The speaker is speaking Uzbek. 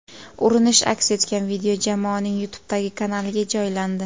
Urinish aks etgan video jamoaning YouTube’dagi kanaliga joylandi .